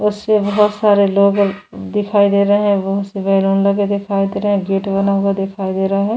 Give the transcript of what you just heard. बहुत सारे लोग अ दिखाई दे रहे है बहुत सी बलून लगे हुए दिखाई दे रहे है गेट बना हुआ दिखाई दे रहा है।